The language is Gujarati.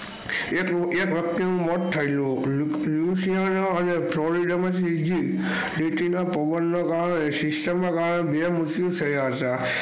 એક વ્યક્તિ નું મોટ થયું સિસ્ટમ નો ગાલો